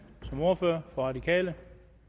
som ordfører for de radikale